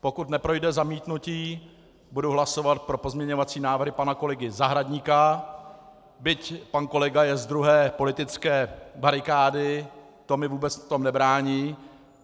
Pokud neprojde zamítnutí, budu hlasovat pro pozměňovací návrhy pana kolegy Zahradníka, byť pan kolega je z druhé politické barikády, to mi v tom vůbec nebrání.